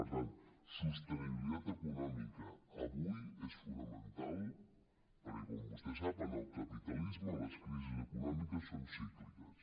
per tant sostenibilitat econòmica avui és fonamental perquè com vostè sap en el capitalisme les crisis econòmiques són cícliques